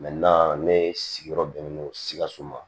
ne sigiyɔrɔ bɛnnen don sikaso ma